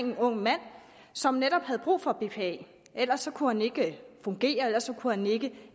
en ung mand som netop havde brug for bpa ellers kunne han ikke fungere ellers kunne han ikke